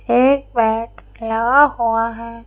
एक बैट लगा हुआ है।